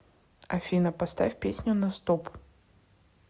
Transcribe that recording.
афина поставь песню на стоп